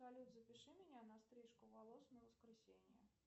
салют запиши меня на стрижку волос на воскресенье